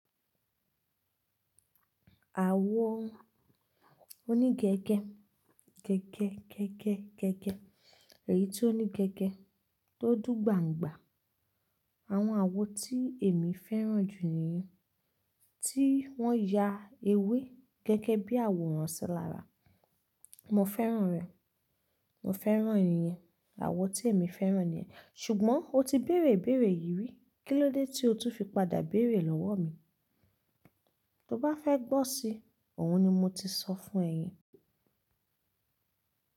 Àwo oní gẹ́gẹ́, gẹ́gẹ́, gẹ́gẹ́, gẹ́gẹ́, èyí tí ó ní gẹ́gẹ́ tó dùn gbàǹgbà. Àwọn àwo tí èmi fẹ́ràn jù nìyẹn tí wọ́n ya ewé gẹ́gẹ́ bí àwòrán sí lara. Mo fẹ́ràn rẹ̀. Mo fẹ́ràn ìyen. Àwo tí èmi fẹ́ràn nìyẹn. Ṣùgbọ́n o ti béèrè ibéèrè yìi rí, kí ló dé tí o tún fi padà béèrè lọ́wọ́ mi? Tó bá fẹ́ gbọ́ si, òhun ni mo ti sọ fún ẹ yen.